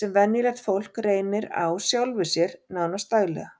sem venjulegt fólk reynir á sjálfu sér, nánast daglega.